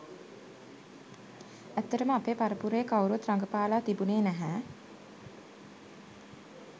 ඇත්තටම අපේ පරපුරේ කවුරුවත් රඟපාලා තිබුණේ නැහැ.